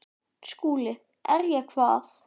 SKÚLI: Er ég hvað?